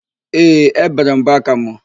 Ee, ébèrè m mbọaka mụ.